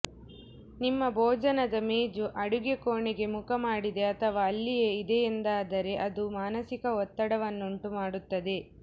ನಿಮ್ಮ ಭೋಜನದ ಮೇಜು ಅಡಿಗೆ ಕೋಣೆಗೆ ಮುಖಮಾಡಿದೆ ಅಥವಾ ಅಲ್ಲಿಯೇ ಇದೆಯೆಂದಾದರೆ ಅದು ಮಾನಸಿಕ ಒತ್ತಡವನ್ನುಂಟು ಮಾಡುತ್ತದೆ